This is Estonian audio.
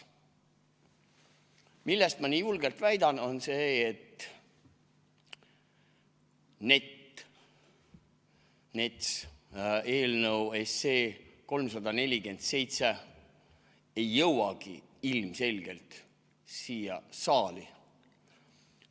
Miks ma seda nii julgelt väidan, on see, et NETS‑i eelnõu, 347 SE ei jõuagi ilmselgelt siia saali.